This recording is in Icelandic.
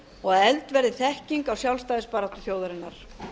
og að efld verði þekking á sjálfstæðisbaráttu þjóðarinnar